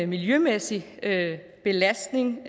miljømæssig belastning